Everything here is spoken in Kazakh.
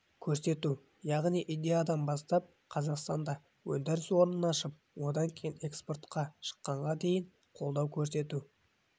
көрсету яғни идеядан бастап қазақстанда өндіріс орнын ашып одан кейін экспортқа шыққанына дейін қолдау көрсету